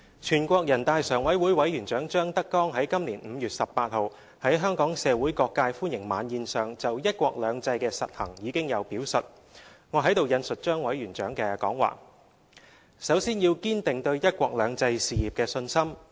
全國人大常委會委員長張德江於今年5月18日在香港社會各界歡迎晚宴上就"一國兩制"的實行已有表述，我在此引述張委員長的講話："首先要堅定對'一國兩制'事業的信心。